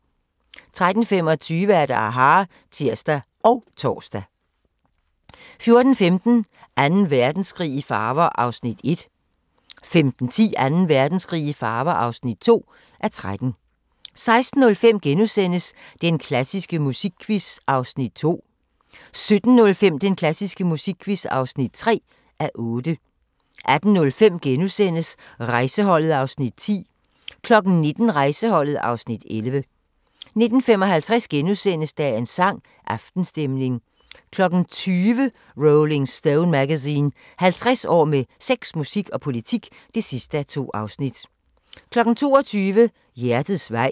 13:25: aHA! (tir og tor) 14:15: Anden Verdenskrig i farver (1:13) 15:10: Anden Verdenskrig i farver (2:13) 16:05: Den klassiske musikquiz (2:8)* 17:05: Den klassiske musikquiz (3:8) 18:05: Rejseholdet (Afs. 10)* 19:00: Rejseholdet (Afs. 11) 19:55: Dagens sang: Aftenstemning * 20:00: Rolling Stone Magazine: 50 år med sex, musik og politik (2:2) 22:00: Hjertets vej